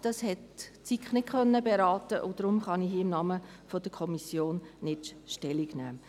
Diese hat die SiK nicht beraten können, und deshalb kann ich hier nicht im Namen der Kommission dazu Stellung nehmen.